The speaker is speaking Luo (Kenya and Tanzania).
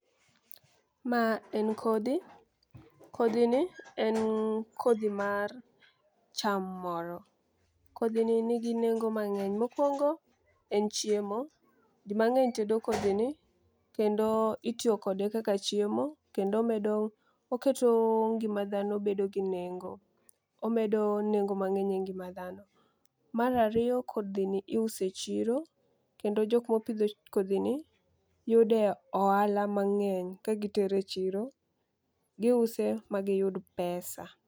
Ma en kodhi, kodhi ni en kodhi mar cham moro kodhi nigi nengo mang'eny. Mokwongo en chiemo jii mang'eny tedo kodhi ni kendo itiyo kode kaka chiemo kendo medo oketo ngima dhano bedo gi nengo. Omedo nengo mang'eny e ngima dhano. Mar ariyo kodhi ni iuse chiro kendo jok mopidho kodhi ni yude ohala mang'eny ka gitere chiro giuse ma giyud pesa.